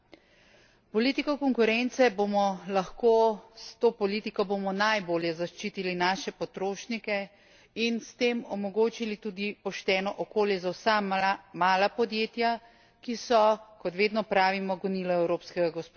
Politiko konkurence bomo lahko s to politiko bomo najbolje zaščitili naše potrošnike in s tem omogočili tudi pošteno okolje za vsa mala podjetja, ki so, kot vedno pravimo, gonilo evropskega gospodarstva.